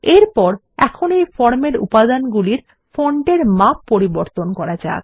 এরপর এখন এই ফর্মের উপাদানগুলি ফন্টের মাপ পরিবর্তন করা যাক